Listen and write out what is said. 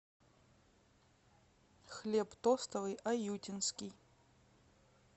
хлеб тостовый аютинский